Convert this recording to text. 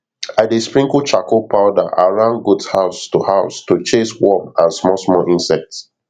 i dey sprinkle charcoal powder around goat house to house to chase worm and smallsmall insect